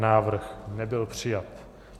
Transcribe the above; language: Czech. Návrh nebyl přijat.